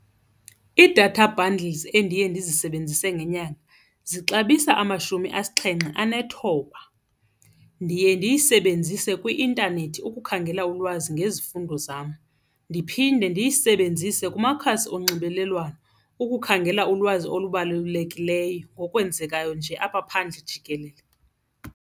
Ii-data bundles endiye ndizisebenzise ngenyanga zixabisa amashumi asixhenxe anethoba, ndiye ndiyisebenzise kwi-intanethi ukukhangela ulwazi ngezifundo zam. Ndiphinde ndiyisebenzise kumakhasi onxibelelwano ukukhangela ulwazi olubalulekileyo ngokwenzekayo nje apha phandle jikelele.